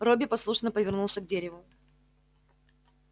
робби послушно повернулся к дереву